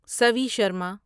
Savi Sharma